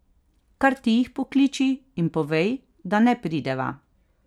Kar ti jih pokliči in povej, da ne prideva.